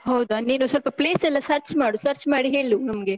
ಹೌದಾ, ನೀನು ಸ್ವಲ್ಪ place ಎಲ್ಲ search ಮಾಡು, search ಮಾಡಿ ಹೇಳು ನಮ್ಗೆ.